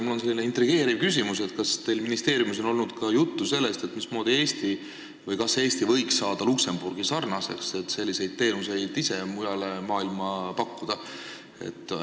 Mul on selline intrigeeriv küsimus: kas teil ministeeriumis on olnud juttu sellest, mismoodi või kas Eesti võiks saada Luksemburgi sarnaseks, et ise selliseid teenuseid mujal maailmas pakkuda?